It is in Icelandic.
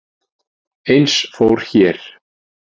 Eins fór hér.